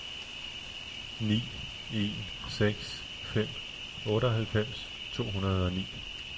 ni en seks fem otteoghalvfems to hundrede og ni